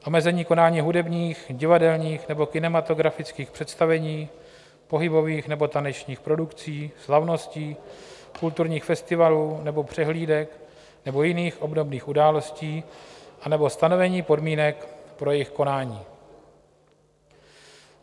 Omezení konání hudebních, divadelních nebo kinematografických představení, pohybových nebo tanečních produkcí, slavností, kulturních festivalů nebo přehlídek nebo jiných obdobných událostí anebo stanovení podmínek pro jejich konání.